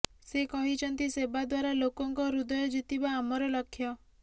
ସେ କହିଛନ୍ତି ସେବା ଦ୍ୱାରା ଲୋକଙ୍କ ହୃଦୟ ଜିତିବା ଆମର ଲକ୍ଷ୍ୟ